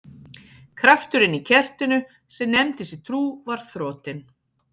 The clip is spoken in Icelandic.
Krafturinn í kertinu sem nefndi sig trú var þrotinn.